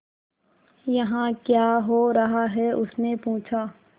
यहाँ क्या हो रहा है उसने पूछा